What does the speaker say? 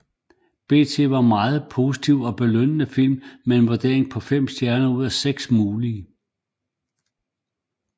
BT var mest positiv og belønnede filmen med en vurdering på 5 stjerner ud af 6 mulige